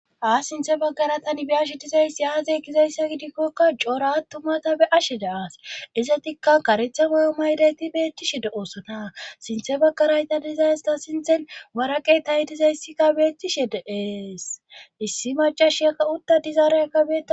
Aas sinthe baggara tani be a shidizayssi aadze gizayssa gidikkokka cooratumata be ashe daaas isatikka karetha mayo maydayti beettishe de oossona sinthe baggarayta dizaysta sinthen maraqey tahidizayssikka beettishe deees issi macash yakka utta dizaare agabe.